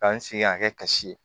K'an sigi k'a kɛ kasi ye